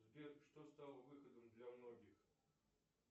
сбер что стало выходом для многих